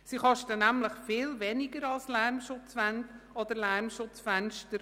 Sie kosten nämlich viel weniger als Lärmschutzwände oder Lärmschutzfenster.